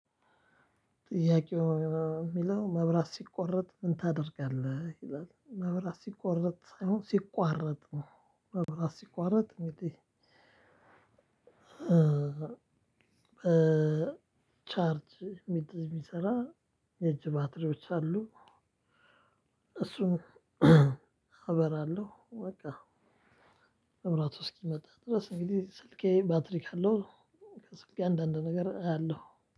ጥያቄው የሚለው መብራት ሲቆረጥ ምን ታደርጋለህ? ይላል መብራት ሲቆረጥ ሳይሆን ሲቋረጥ ነው መብራት ሲቋረጥ እንግዲህ በቻርጅ የሚሰራ የእጅ ባትሪዎች አሉ። እሱን አበራለሁ። በቃ። መብራቱ እስኪመጣ ድረስ እንግዲህ ስልኬ ባትሪ ካለው። ከስልኬ አንዳንድ ነገር አያለሁ